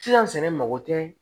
Sisan sɛnɛ mago tɛ